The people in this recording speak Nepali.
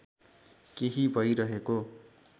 केही भइरहेको